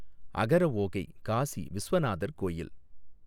அகரஓகை காசி விசுவநாதர் கோயில்